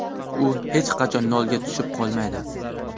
U hech qachon nolga tushib qolmaydi.